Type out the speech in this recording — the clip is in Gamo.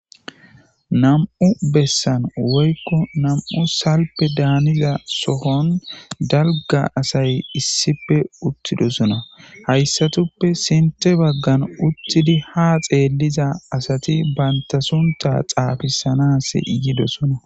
Nam"u bessan woykko na'u salpeda giza sohon dalga asay issippe utidossona izetappekka sinththara banta sunththa xafissana yiida asati de"osona